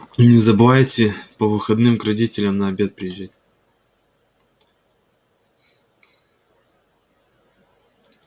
и не забывайте по выходным к родителям на обед приезжать